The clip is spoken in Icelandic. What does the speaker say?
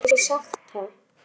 Hann gat ekki sagt það.